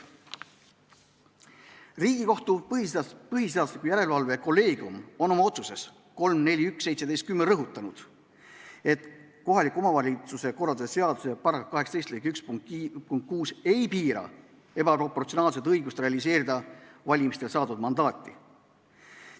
Riigikohtu põhiseaduslikkuse järelevalve kolleegium on oma otsuses 3-4-1-17-10 rõhutanud, et kohaliku omavalitsuse korralduse seaduse § 18 lõike 1 punkt 6 ei piira ebaproportsionaalselt õigust realiseerida valimistel saadud mandaati.